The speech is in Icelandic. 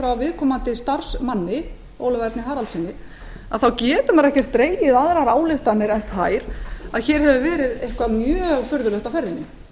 frá viðkomandi starfsmanni ólafi erni haraldssyni að þá getur maður ekkert dregið aðrar ályktanir en þær að hér hafi verið eitthvað mjög furðulegt á ferðinni